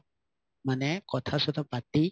মানে কথা চথা পাতি